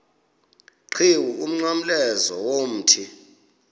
qhiwu umnqamlezo womthi